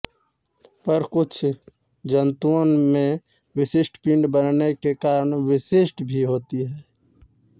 पर कुछ जन्तुओं में विशिष्ट पिंड बनने के कारण विशिष्ट भी होती है